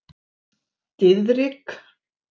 Diðrik